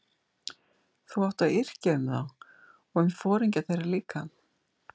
Þú átt að yrkja um þá og um foringja þeirra líka.